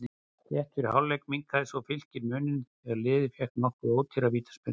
Rétt fyrir hálfleik minnkaði svo Fylkir muninn þegar liðið fékk nokkuð ódýra vítaspyrnu.